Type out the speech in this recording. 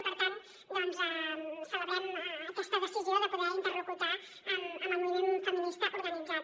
i per tant doncs celebrem aquesta decisió de poder interlocutar amb el moviment feminista organitzat